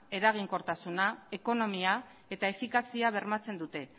eraginkortasuna ekonomia eta efikazia bermatzen dute